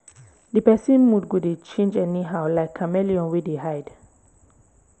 di pesin mood go dey change anyhow like chameleon wey dey hide